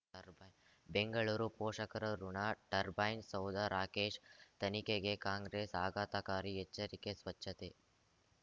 turbine Bengaluru ಪೋಷಕರಋಣ turbine ಸೌಧ ರಾಕೇಶ್ ತನಿಖೆಗೆ ಕಾಂಗ್ರೆಸ್ ಆಘಾತಕಾರಿ ಎಚ್ಚರಿಕೆ ಸ್ವಚ್ಛತೆ